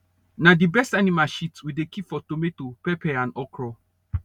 na the best animal shit we dey keep for tomato pepper and okra